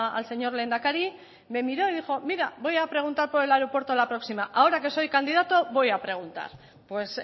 al señor lehendakari me miro y dijo mira voy a preguntar por el aeropuerto la próxima ahora que soy candidato voy a preguntar pues